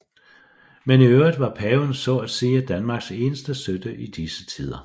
Men i øvrigt var paven så at sige Danmarks eneste støtte i disse tider